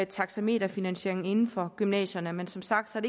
taxameterfinansieringen inden for gymnasierne men som sagt er